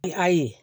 I ayi